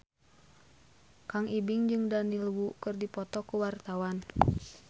Kang Ibing jeung Daniel Wu keur dipoto ku wartawan